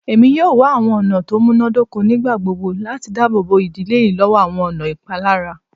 Emi yoo wa awọn ọna ti o munadoko nigbagbogbo lati daabobo idile yii lọwọ awọn ọna ipalara